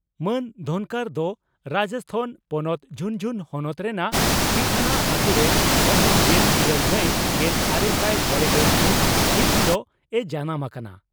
ᱢᱟᱱ ᱫᱷᱚᱱᱠᱚᱨ ᱫᱚ ᱨᱟᱡᱚᱥᱛᱷᱟᱱ ᱯᱚᱱᱚᱛ ᱡᱷᱩᱱᱡᱷᱩᱱ ᱦᱚᱱᱚᱛ ᱨᱮᱱᱟᱜ ᱠᱤᱴᱷᱟᱱᱟ ᱟᱹᱛᱩᱨᱮ ᱢᱟᱹᱦᱤᱛ ᱜᱮᱞ ᱤᱨᱟᱹᱞ ᱢᱟᱭ ᱜᱮᱞᱟᱨᱮᱥᱟᱭ ᱢᱚᱲᱮᱜᱮᱞ ᱢᱤᱛ ᱦᱤᱛ ᱦᱤᱞᱚᱜ ᱮ ᱡᱟᱱᱟᱢ ᱟᱠᱟᱱᱟ ᱾